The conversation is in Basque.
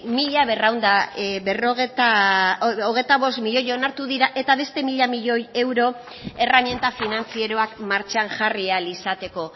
hogeita bost milioi onartu dira eta beste mila milioi euro erreminta finantzarioak martxan jarri ahal izateko